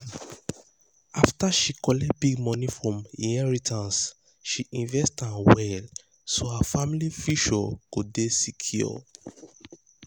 after she collect big money from inheritance she invest am well so her family future go dey secure.